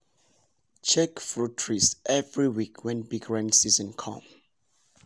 check fruit trees every week when big rain season come.